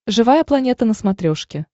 живая планета на смотрешке